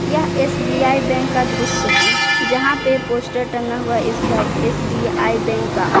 यहां SBI bank का दृश्य है जहां पे पोस्टर टंगा हुआ हैं एस_बी_आई बैंक का।